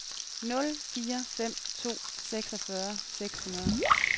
nul fire fem to seksogfyrre seks hundrede